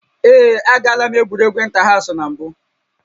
Ee, agaala m egwuregwu ịntahaụsụ na mbụ